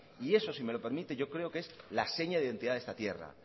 y eso si me lo permite yo creo que es la seña de identidad de esta tierra